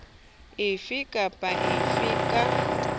efe kapa efe e ka